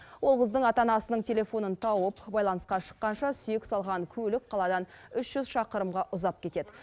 ол қыздың ата анасының телефонын тауып байланысқа шыққанша сүйек салған көлік қаладан үш жүз шақырымға ұзап кетеді